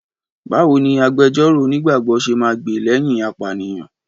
Báwo ni agbejọ́rò onígbàgbọ́ ṣe máa gbè lẹ́yìn apànìyàn?